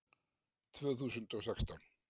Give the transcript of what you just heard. Tvö þúsund og sextán